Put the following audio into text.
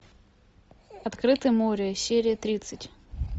открытое море серия тридцать